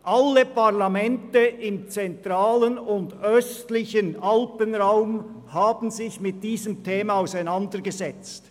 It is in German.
Alle Parlamente im zentralen und östlichen Alpenraum, in denen der Tourismus bewirtschaftet wird, haben sich mit diesem Thema auseinandergesetzt.